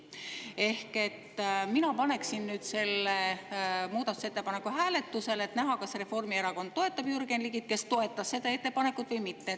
Ehk mina paneksin nüüd selle muudatusettepaneku hääletusele, et näha, kas Reformierakond toetab Jürgen Ligit, kes toetas seda ettepanekut, või mitte.